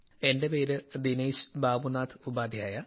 എന്റെ പേര് ദിനേശ് ബാബുനാഥ് ഉപാദ്ധ്യായ